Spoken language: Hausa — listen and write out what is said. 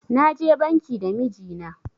Na je banki da miji na